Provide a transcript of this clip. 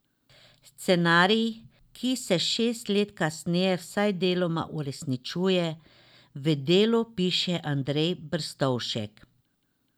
Scenarij, ki se šest let kasneje vsaj deloma uresničuje, v Delu piše Andrej Brstovšek.